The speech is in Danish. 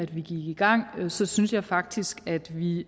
vi gik i gang så synes jeg faktisk at vi